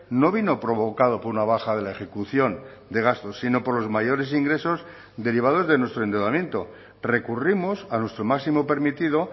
no vino provocado por una baja de la ejecución de gasto sino por los mayores ingresos derivados de nuestro endeudamiento recurrimos a nuestro máximo permitido